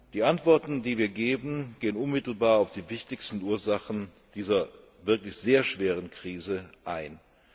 Die Antworten, die wir geben, gehen unmittelbar auf die wichtigsten Ursachen dieser wirklich sehr schweren Krise ein.